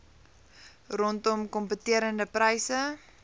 rondom kompeterende pryse